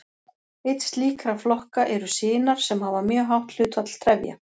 Einn slíkra flokka eru sinar sem hafa mjög hátt hlutfall trefja.